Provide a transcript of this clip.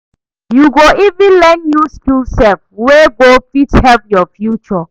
Yu go even learn new skill sef wey go fit help yur future